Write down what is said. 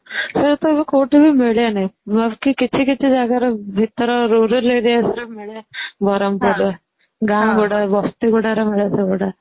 ଏ ସବୁ କଉଠି ବି ମିଳେନି କିଛି କିଛି ଜାଗାରେ ଭିତର rural areas ରେ ମିଳେ ବ୍ରହ୍ମପୁରରେ ଗାଁ ଗୁଡା ବସ୍ତି ଗୁଡା ରେ ମିଳେ ସେ ଗୁଡା